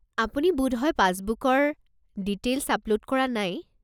আপুনি বোধহয় পাছবুকৰ ডিটেইল্ছ আপল'ড কৰা নাই।